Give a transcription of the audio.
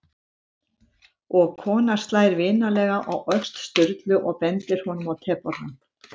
Og konan slær vinalega á öxl Sturlu og bendir honum á tebollann.